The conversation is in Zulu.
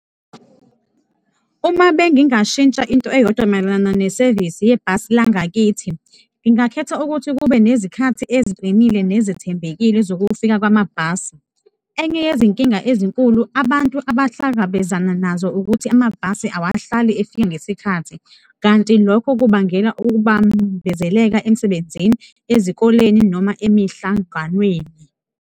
Uma bengingashintsha into eyodwa mayelana nesevisi yebhasi langakithi, ngingakhetha ukuthi kube nezikhathi eziqinile nezithembekile zokufika kwamabhasi. Enye yezinkinga ezinkulu abantu abahlangabezana nazo ukuthi amabhasi awahlali efika ngesikhathi, kanti lokho kubangela ukubambezeleka emsebenzini, ezikoleni noma emihlanganweni.